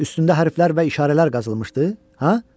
Üstündə hərflər və işarələr qazılmışdı, hə?